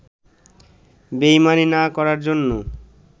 বেইমানি না করার জন্য